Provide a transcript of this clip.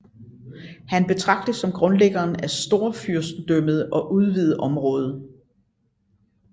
Han betragtes som grundlæggeren af storfyrstendømmet og udvide området